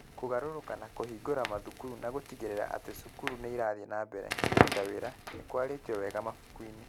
Kũgarũrũka na kũhingũra mathukuru na gũtigĩrĩra atĩ cukuru nĩ irathiĩ na mbere kũruta wĩra nĩ kwarĩtio wega mabuku-inĩ.